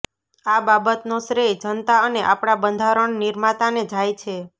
આ બાબતનો શ્રેય જનતા અને આપણા બંધારણ નિર્માતાને જાય છે